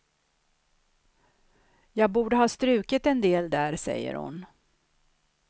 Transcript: Jag borde ha strukit en del där, säger hon.